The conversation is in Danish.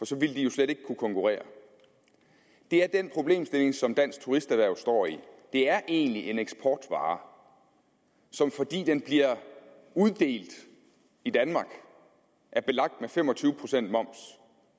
så ville de jo slet ikke kunne konkurrere det er den problemstilling som dansk turisterhverv står i det er egentlig en eksportvare som fordi den bliver uddelt i danmark er belagt med fem og tyve procent moms